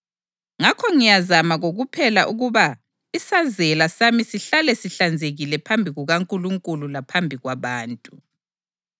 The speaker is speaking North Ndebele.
Ngakho ngiyazama kokuphela ukuba isazela sami sihlale sihlanzekile phambi kukaNkulunkulu laphambi kwabantu.